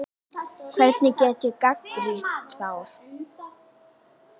Hvernig get ég gagnrýnt þá?